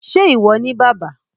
ṣe iwọ ni bàbà?